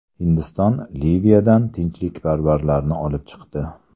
Hindiston Liviyadan tinchlikparvarlarni olib chiqdi.